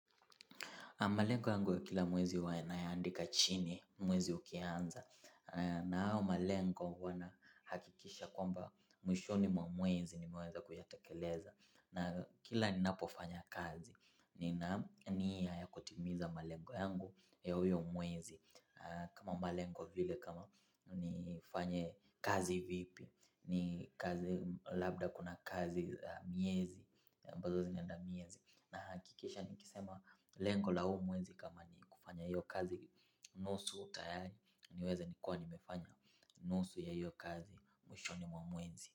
Malengo yangu ya kila mwezi huwa nayaandika chini mwezi ukianza. Na hao malengo wanahakikisha kwamba mwishoni mwa mwezi nimeweza kuyatekeleza. Na kila ninapofanya kazi, nina niya ya kutimiza malengo yangu ya uyo mwezi. Kama malengo vile kama ni fanye kazi vipi, ni kazi labda kuna kazi miezi, ambazo zinaenda miezi. Na hakikisha nikisema lengo la huu mwezi kama ni kufanya hiyo kazi nusu tayari niweze nikuwe nimefanya nusu ya hiyo kazi mwishoni wa mwezi.